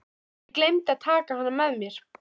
Ég gleymdi að taka hana með mér.